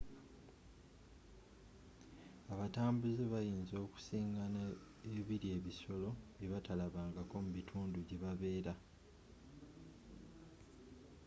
abatambuze bayinza okusingaana ebirya ebisoro byebatalabangako mubitundu jebabeera